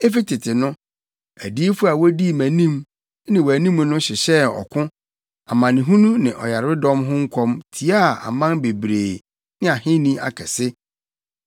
Efi tete no, adiyifo a wodii mʼanim ne wʼanim no hyehyɛɛ ɔko, amanehunu ne ɔyaredɔm ho nkɔm tiaa aman bebree ne ahenni akɛse.